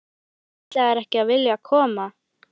Þú sem ætlaðir ekki að vilja koma!